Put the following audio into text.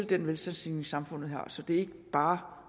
den velstandsstigning samfundet har så det er ikke bare